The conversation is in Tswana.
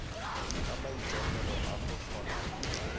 ka maikaelelo a go tlhola